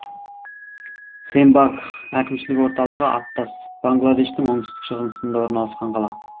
сенбагх әкімшілік орталығы аттас бангладештің оңтүстік шығысында орналасқан қала